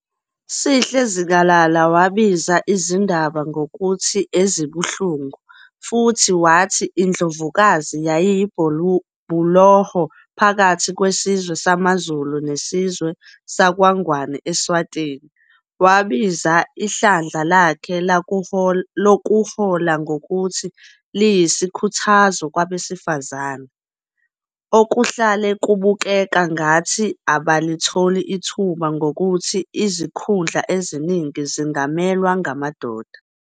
Sihle Zikalala wabiza izindaba ngokuthi "ezibuhlungu" futhi wathi iNdlovukazi yayiyibhuloho phakathi kwesizwe samaZulu nesizwe sakwaNgwane eSwatini. Wabiza ihlandla lakhe lokuhola ngokuthi liyisikhuthazo kwabesifazane, okuhlale kubukeka ngathi abalitholi ithuba ngokuthi izikhundla eziningi zingamelwa ngamadoda.